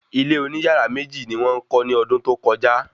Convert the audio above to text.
Ilé oní yàrá méjì ni wọ́n kọ́ ni ọdún tó kọjá